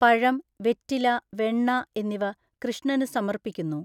പഴം, വെറ്റില, വെണ്ണ എന്നിവ കൃഷ്ണനു സമർപ്പിക്കുന്നു.